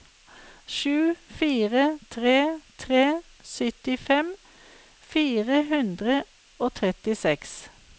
sju fire tre tre syttifem fire hundre og trettiseks